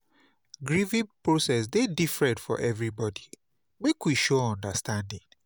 Grieving process dey different for everybody; make we show understanding.